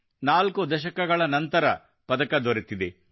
ನಾಲ್ಕು ದಶಕಗಳ ನಂತರ ಪದಕ ದೊರೆತಿದೆ